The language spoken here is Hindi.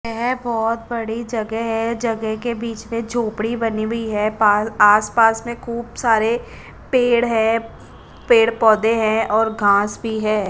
येह बोहोत बड़ी जगे है जगे के बिच में जोपडी बनी वि है पाल आस पास में खूब सारे पेड़ है पेड़ पोधे है और घास भी है।